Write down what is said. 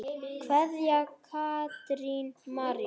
Kveðja, Katrín María.